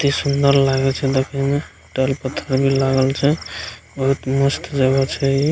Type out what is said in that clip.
अति सुन्दर लागे छे देखे में पत्थर भी लागल छे बहुत मस्त जगह छे ई।